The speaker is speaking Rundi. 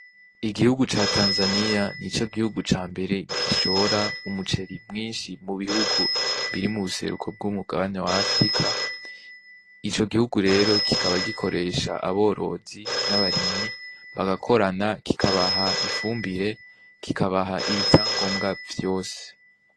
Igihugu ca tanzaniya ni co gihugu ca mbere gishora umuceri mwinshi mu bihugu biri mu buseruko bw'umugabani wa afrika ico gihugu rero kikaba gikoresha aborozi n'abaremyi bagakorana kikabaha ifumbire kikabaha ibi vya ngombwa vyose.